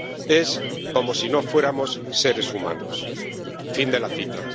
Es como si no fuéramos seres humanos. Fin de la cita.